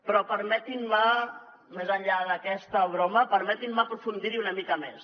però permetin me més enllà d’aquesta broma aprofundir hi una mica més